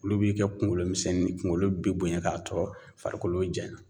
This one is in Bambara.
Olu b'i kɛ kunkolo misɛnni ye kungolo be bonya ka to farikolo jaɲa